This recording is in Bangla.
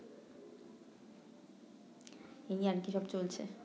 এই আর কি সব চলছে